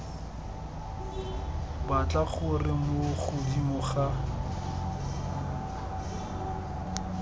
batla gore mo godimo ga